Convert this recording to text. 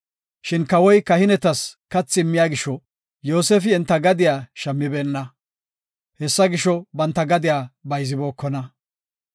Shin kawoy kahinetas kathi immiya gisho Yoosefi enta gadiya shammibeenna. Hessa gisho, banta gadiya bayzibokona.